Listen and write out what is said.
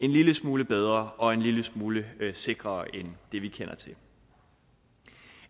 en lille smule bedre og en lille smule sikrere end det vi kender til